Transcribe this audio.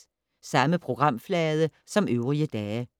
Samme programflade som øvrige dage